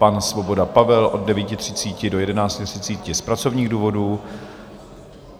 Pan Svoboda Pavel od 9.30 do 11.30 z pracovních důvodů.